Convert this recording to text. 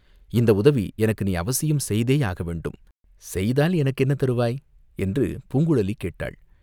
இந்த உதவி எனக்கு நீ அவசியம் செய்தேயாக வேண்டும், செய்தால் எனக்கு என்ன தருவாய் என்று பூங்குழலி கேட்டாள்.